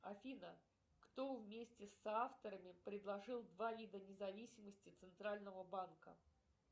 афина кто вместе с соавторами предложил два вида независимости центрального банка